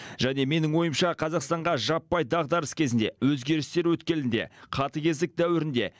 және менің ойымша қазақстанға жаппай дағдарыс кезінде өзгерістер өткелінде қатыгездік дәуірінде